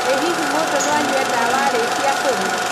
ĩ hihi mũndũ no anyue ndawa arĩkia kũrĩa